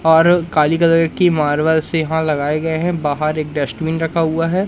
और काली कलर की मार्बल्स यहां लगाए गए हैं बाहर एक डस्टबिन रखा हुआ है।